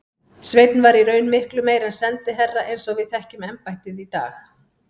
Sveinn var í raun miklu meira en sendiherra eins og við þekkjum embættið í dag.